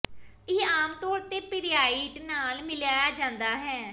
ਇਹ ਆਮ ਤੌਰ ਤੇ ਪੀਰੀਆਾਈਟ ਨਾਲ ਮਿਲਾਇਆ ਜਾਂਦਾ ਹੈ